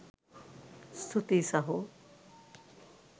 ස්තුතියි සහො!